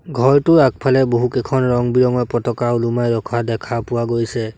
ঘৰটোৰ আগফালে বহুকেইখন ৰং বিৰঙৰ পতকা ওলমাই ৰখা দেখা পোৱা গৈছে।